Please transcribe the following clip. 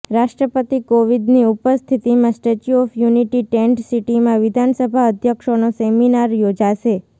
રાષ્ટ્રપતિ કોવિદની ઉપસ્થિતિમાં સ્ટેચ્યુ ઓફ યુનિટી ટેન્ટ સિટીમાં વિધાનસભા અધ્યક્ષોનો સેમિનાર યોજાશે